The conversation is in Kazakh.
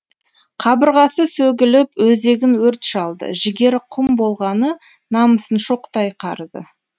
қабырғасы сөгіліп өзегін өрт шалды жігері құм болғаны намысын шоқтай қарыды